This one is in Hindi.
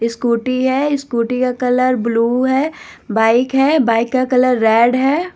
ये स्कूटी है स्कूटी का कलर ब्लू है बाइक है बाइक का कलर रेड है।